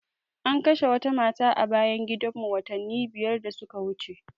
An kashe wata mata a bayan gidan mu watanni biyar da suka wuce